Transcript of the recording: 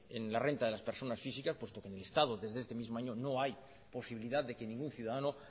en la renta de las personas físicas puesto que en el estado desde este mismo año no hay posibilidad de que ningún ciudadano